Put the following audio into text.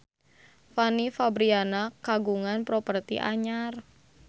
Fanny Fabriana kagungan properti anyar